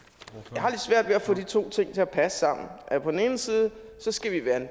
jeg har lidt svært ved at få de to ting til at passe sammen på den ene side skal vi være en